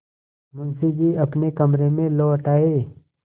मुंशी जी अपने कमरे में लौट आये